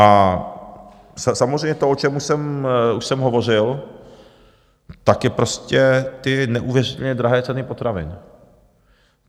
A samozřejmě to, o čem už jsem hovořil, tak je prostě - ty neuvěřitelně drahé ceny potravin.